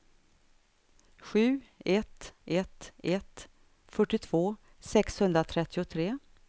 sju ett ett ett fyrtiotvå sexhundratrettiotre